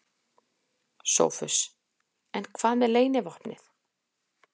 SOPHUS: En hvað með leynivopnið?